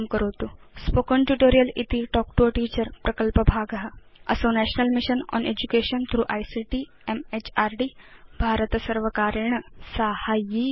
spoken tutorial इति talk to a teacher प्रकल्पभाग असौ national mission on education through ICT म्हृद् भारतसर्वकारेण साहाय्यीकृत